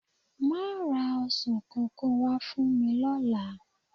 Máa ra ọsàn kankan wá fún mi lọ́la.